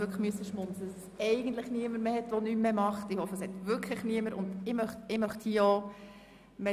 Ich hoffe, es gibt wirklich niemanden in der Verwaltung, der nichts tut!